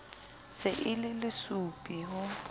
se e le lesupi ho